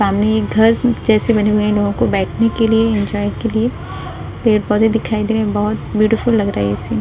सामने ये घर जैसे बने हुए हैं लोगो को बैठने के लिए एन्जोय के लिए। पेड़ पौधे दिखाई दे रहे हैं बहोत ब्यूटीफुल लग रहा है ये सीन --